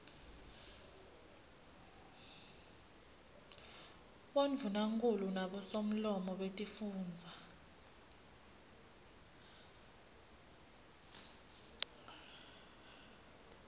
bondvunankhulu nabosomlomo betifundza